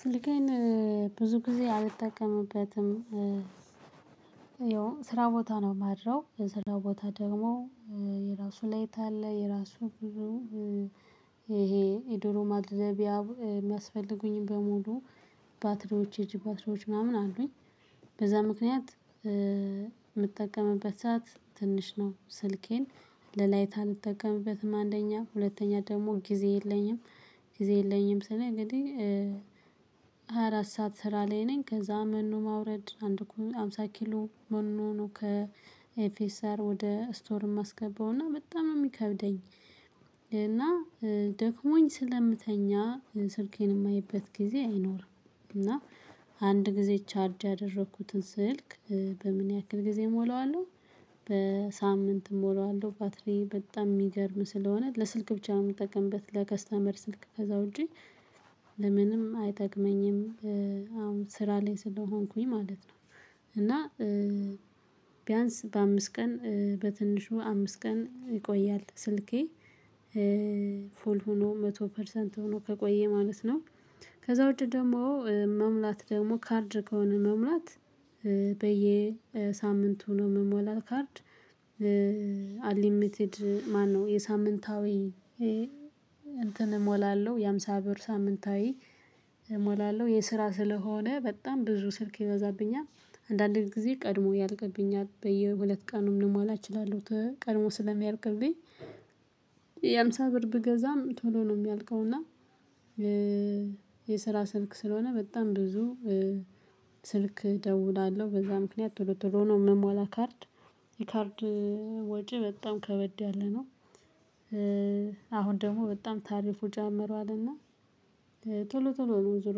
ስልኬን ብዙ ጊዜ አልጠቀምበትም። ያው ስራ ቦታ ነው የማድረው የስራ ቦታ ደግሞ የራሱ ላይት አለ። የራሱ ብዙ የዶሮ ማድለቢያ የሚያስፈልጉኝ በሙሉ ባትሪዎች የእጅ ባትሪዎች ምናምን አሉኝ። በዛ ምክንያት የምጠቀምበት ሰዓት ትንሽ ነው ስልኬን ለላይታ አልጠቀምበትም አንደኛ ሁለተኛ ደግሞ ጊዜ የለኝም ጊዜ የለኝም ስል እንግዲህ ሃያ አራት ሰዓት ስራ ላይ ነኝ። ከዛ መኖ ማውረድ አንድ ኩንታል አምሳ ኪሎ መኖ ከኤፍኤሰር ወደ ስቶር ማስገባው እና በጣም ነው የሚከብደኝ። እና ደክሞኝ ስለምተኛ ስልኬን የማይበት ጊዜ አይኖርም። እና አንድ ጊዜ ቻርጅ ያደረኩትን ስልክ በምን ያክል ጊዜ እሞላዋለሁ። በሳምንት እሞላዋለሁ ባትሪ በጣም የሚገርም ስለሆነ ለስልክ ብቻ ነው የምጠቀምበት ለከስተመር ስልክ ከዛ ውጪ ለምንም አይጠቅመኝም። አሁን ስራ ላይ ስለሆንኩኝ ማለት ነው። እና ቢያንስ በአምስት ቀን በትንሹ አምስት ቀን ይቆያል ስልኬ። ፉል ሆኖ መቶ ፐርሰንት ሆኖ ከቆየ ማለት ነው። ከዛ ውጪ ደግሞ መሙላት ደግሞ ካርድ ከሆነ መሙላት በየሳምንቱ የምሞላው ካርድ አንሊሚትድ ማነው የሳምንታዊ እንትን እሞላለሁ የሃምሳ ብር ሳምንታዊ እሞላለሁ የስራ ስለሆነ በጣም ብዙ ስልክ ይበዛብኛል። አንዳንድ ጊዜ ቀድሞ ያልቅብኛል በየሁለት ቀኑም ልሟላ እችላለሁ። ቀድሞ ስለሚያልቅብኝ የሃምሳ ብር ብገዛም ቶሎ ነው የሚያልቀው እና። የስራ ስልክ ስለሆነ በጣም ብዙ ስልክ እደውላለሁ በዛ ምክንያት ቶሎ ቶሎ ነው የምሞላ ካርድ የካርድ ወጪ በጣም ከበድ ያለ ነው። አሁን ደግሞ በጣም ታሪፉ ጨምረዋል እና ቶሎ ቶሎ ነው ዞሮ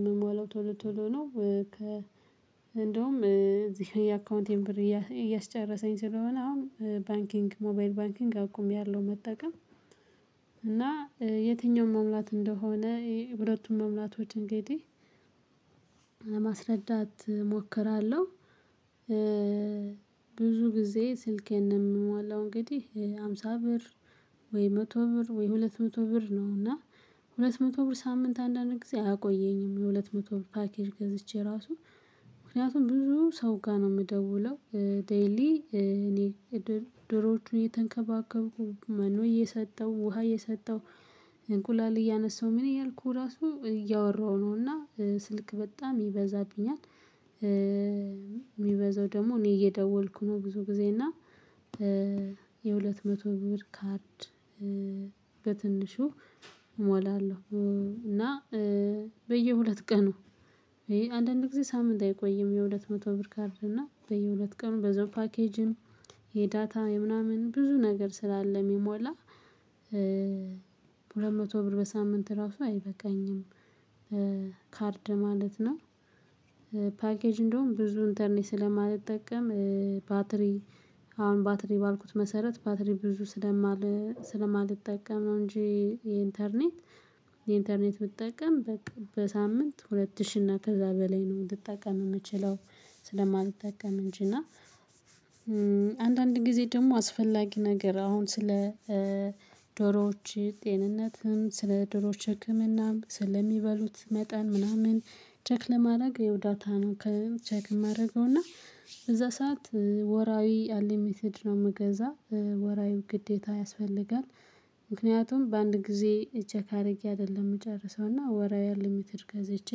የምሟለው ቶሎ ቶሎ ነው እንደውም እዚህ የአካውንቴን ብር እያስጨረሰኝ ስለሆነ አሁን ባንኪንግ ሞባይል ባንኪንግ አቁሚያለው መጠቀም። እና የትኛውም መሙላት እንደሆነ ሁለቱም መሙላቶች እንግዲህ ለማስረዳት እሞክራለሁ። ብዙ ጊዜ ስልኬን የምሟላው እንግዲህ ሃምሳ ብር ወይ መቶ ብር ወይ ሁለት መቶ ብር ነው። እና ሁለት መቶ ብር ሳምንት አንዳንድ ጊዜ አያቆየኝም የሁለት መቶ ብር ፓኬጅ ገዝቼ ራሱ ምክንያቱም ብዙ ሰው ጋር ነው የምደውለው ዴይሊ እኔ ዶሮዎቹን እየተንከባከብኩኝ መኖ እየሰጠው ውሃ እየሰጠው እንቁላል እያነሳሁ ምን እያልኩ ራሱ እያወራሁ ነውና ስልክ በጣም ይበዛብኛል። የሚበዛው ደግሞ እኔ እየደወልኩ ነው ብዙ ጊዜ እና። የሁለት መቶ ብር ካርድ በትንሹ እሞላለሁ። እና በየሁለት ቀኑ አንዳንድ ጊዜ ሳምንት አይቆይም የሁለት መቶ ብር ካርድ እና በየሁለት ቀኑ በዛው ፓኬጅም የዳታ የምናምን ብዙ ነገር ስላለ የሚሞላ። ሁለት መቶ ብር በሳምንት ራሱ አይበቃኝም ካርድ ማለት ነው። ፓኬጅ እንደውም ብዙ ኢንተርኔት ስለማልጠቀም ባትሪ አሁን ባትሪ ባልኩት መሰረት ባትሪ ብዙ ስለማል ስለማልጠቀም ነው። እንጂ የኢንተርኔት የኢንተርኔት ብጠቀም በሳምንት ሁለት ሺህ እና ከዛ በላይ ነው ልጠቀም የምችለው። ስለማልታጠቀም እንጂ እና። አንዳንድ ጊዜ ደግሞ አስፈላጊ ነገር አሁን ስለ ዶሮዎች ጤንነትም ስለ ዶሮዎች ህክምናም ስለሚበሉት መጠን ምናምን ቼክ ለማድረግ ያው ዳታ ነው ከ ቼክ ማደርገው እና በዛ ሰዓት ወራዊ አንሊሚትድ ነው ምገዛ ወራዊው ግዴታ ያስፈልጋል። ምክንያቱም በአንድ ጊዜ ቼክ አድርጌ አይደለም የምጨርሰው እና ወራዊ አንሊሚትድ ገዝቼ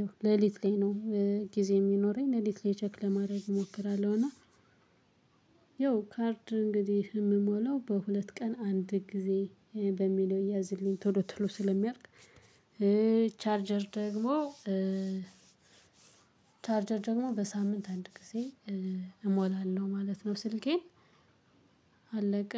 ያው ሌሊት ላይ ነው። ጊዜ የሚኖረኝ ሌሊት ላይ ቼክ ለማድረግ እሞክራለሁ። እና ያው ካርድ እንግዲህ የምሞላው በሁለት ቀን አንድ ጊዜ በሚለው ይያዝልኝ ቶሎ ቶሎ ስለሚያልቅ። ቻርጀር ደግሞ ቻርጀር ደግሞ በሳምንት አንድ ጊዜ እሞላለሁ ማለት ነው። ስልኬን አለቀ